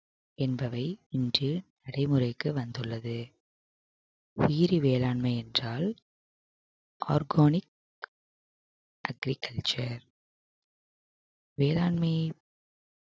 என்பவை இன்று நடைமுறைக்கு வந்துள்ளது உயிரி வேளாண்மை என்றால் organic agriculture வேளாண்மையை